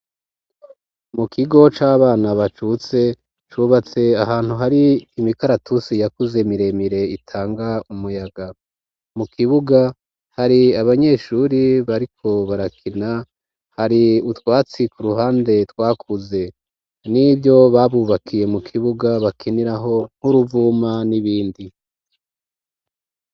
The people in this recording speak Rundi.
Mu kigo c'abana bacutse cubatse ahantu hari imikaratusi yakuze miremire, itanga umuyaga. Mu kibuga hari abanyeshuri bariko barakina, hari utwatsi k'uruhande twakuze, n'ivyo babubakiye mu kibuga bakinirako nk'uruvuma n'ibindi.